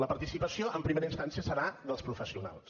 la participació en primera instància serà dels professionals